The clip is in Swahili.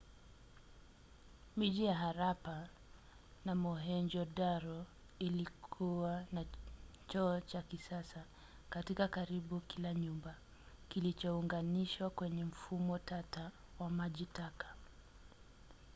miji ya harappa na mohenjo-daro ilikuwa na choo cha kisasa katika karibu kila nyumba kilichounganishwa kwenye mfumo tata wa maji taka